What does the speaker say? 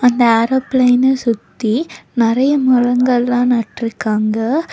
அந்த ஏரோபிளைன சுத்தி நெறைய மரங்கள்லா நட்ருக்காங்க.